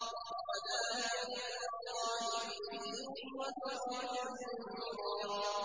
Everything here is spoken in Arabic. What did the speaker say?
وَدَاعِيًا إِلَى اللَّهِ بِإِذْنِهِ وَسِرَاجًا مُّنِيرًا